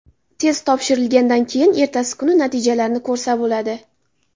Test topshirilgandan keyin ertasi kuni natijalarni ko‘rsa bo‘ladi.